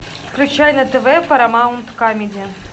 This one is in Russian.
включай на тв парамаунт камеди